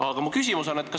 Aga mu küsimus on selline.